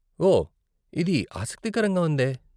ఓ, ఇది ఆసక్తికరంగా ఉందే.